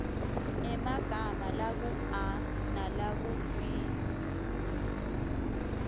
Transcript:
emagama lakua nalakub